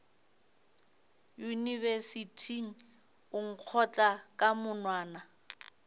yunibesithing o nkgotla ka monwana